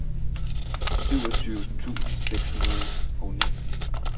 syvogtyve tusind seks hundrede og ni